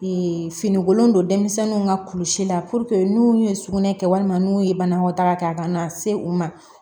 finikolon don denmisɛnninw ka kulisi la n'u ye sugunɛ kɛ walima n'u ye banakɔtaga kɛ a kana se u ma